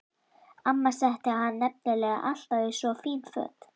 Amma setti hann nefnilega alltaf í svo fín föt.